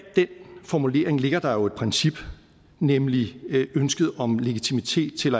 den formulering ligger der jo et princip nemlig ønsket om legitimitet til